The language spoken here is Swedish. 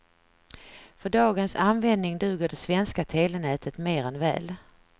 För dagens användning duger det svenska telenätet mer än väl.